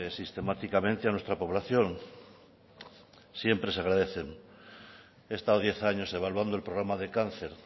sistemáticamente a nuestra población siempre se agradecen he estado diez años evaluando el programa de cáncer